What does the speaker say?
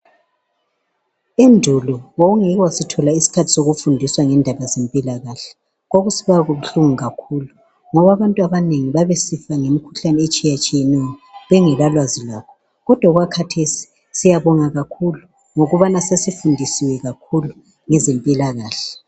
Endulo wawungeke wasithola isikhathi sokufundiswa ngendaba zempilakahle kwakusibabuhlungu kakhulu ngoba abantu abanengi babesifa ngemikhuhlane etshiyetshiyeneyo bengelalwazi lakho kodwa okwakhathesi siyabonga kakhulu ngobana sesifundisiwe kakhulu ngezempilakahle.